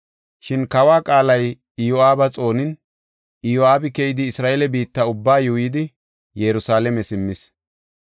Shin kawa qaalay Iyo7aaba xoonin, Iyo7aabi keyidi Isra7eele biitta ubbaa yuuyidi Yerusalaame simmis.